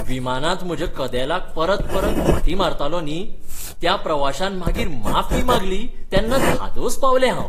विमानांत म्हज्या कदेलाक परतपरत खोंटी मारतालो न्ही, त्या प्रवाश्यान मागीर माफी मागली तेन्ना धादोस पावलें हांव.